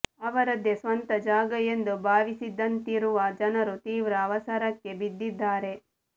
ಅವರದ್ದೇ ಸ್ವಂತ ಜಾಗ ಎಂದು ಭಾವಿಸಿದಂತಿರುವ ಜನರು ತೀವ್ರ ಅವಸರಕ್ಕೆ ಬಿದ್ದಿದ್ದಾರೆ